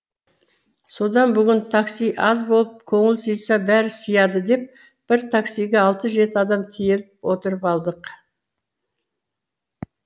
содан бүгін такси аз болып көңіл сыйса бәрі сияды деп бір таксиге алты жеті адам тиеліп отырып алдық